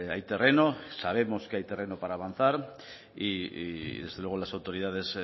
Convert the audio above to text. hay terreno sabemos que hay terreno para avanzar y desde luego las autoridades